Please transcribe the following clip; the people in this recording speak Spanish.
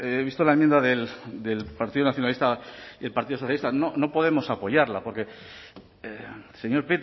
he visto la enmienda del partido nacionalista y el partido socialista no podemos apoyarla porque señor